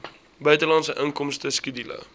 buitelandse inkomste skedule